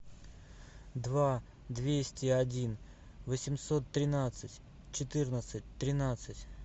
два двести один восемьсот тринадцать четырнадцать тринадцать